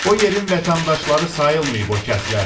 O yerin vətəndaşları sayılmayıb o kəslər.